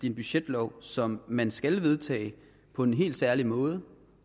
en budgetlov som man skal vedtage på en helt særlig måde